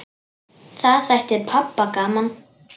Það þætti pabba gaman.